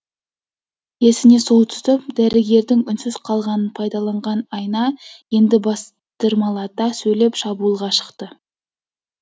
есіне сол түсіп дәрігердің үнсіз қалғанын пайдаланған айна енді бастырмалата сөйлеп шабуылға шықты